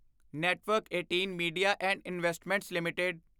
network 18 media and investments LTD